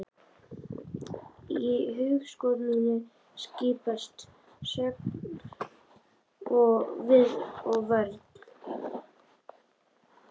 Í hugskoti mínu skiptast á sókn og vörn.